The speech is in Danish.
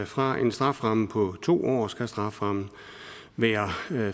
fra en strafferamme på to år skal strafferammen være